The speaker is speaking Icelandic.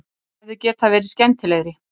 Þeir hefðu getað verið skemmtilegri